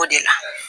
O de la